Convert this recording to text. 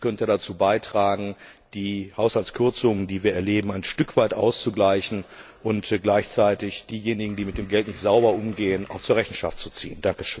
Dies könnte dazu beitragen, die Haushaltskürzungen, die wir erleben, ein Stück weit auszugleichen und gleichzeitig diejenigen, die mit dem Geld nicht sauber umgehen, zur Rechenschaft zu ziehen.